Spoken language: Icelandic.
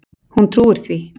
Hún trúir því.